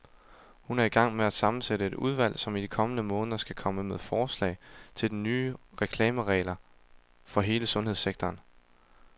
Hun er i gang med at sammensætte et udvalg, som i de kommende måneder skal komme med forslag til nye reklameregler for hele sundhedssektoren.